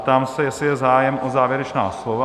Ptám se, jestli je zájem o závěrečná slova.